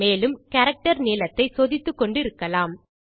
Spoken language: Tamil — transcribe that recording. மேலும் கேரக்டர் நீளத்தை சோதித்துக்கொண்டு இருக்கலாம்